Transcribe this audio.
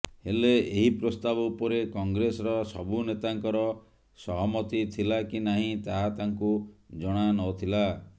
ହେଲେ ଏହି ପ୍ରସ୍ତାବ ଉପରେ କଂଗ୍ରେସର ସବୁ ନେତାଙ୍କର ସହମତି ଥିଲା କି ନାହିଁ ତାହା ତାଙ୍କୁ ଜଣାନଥିଲା